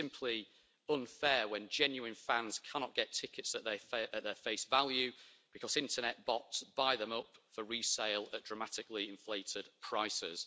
It is simply unfair when genuine fans cannot get tickets at their face value because internet bots buy them up for resale at dramatically inflated prices.